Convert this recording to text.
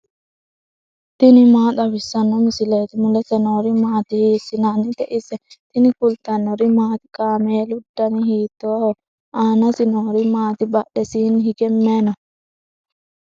tini maa xawissanno misileeti ? mulese noori maati ? hiissinannite ise ? tini kultannori maati? kaameelu danni hiittoho? aanasi noori maatti? badheesiinni hige mayi noo?